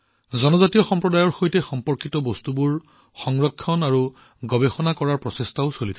জনজাতীয় সম্প্ৰদায়ৰ সৈতে সম্পৰ্কিত দিশবোৰৰ সংৰক্ষণ আৰু গৱেষণা কৰাৰ প্ৰয়াস কৰা হৈছে